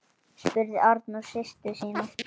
spurði Arnór systur sína.